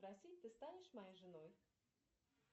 спроси ты станешь моей женой